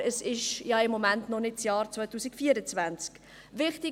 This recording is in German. Aber es ist ja im Moment noch nicht das Jahr 2024.